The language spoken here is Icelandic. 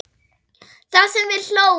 Það sem við hlógum.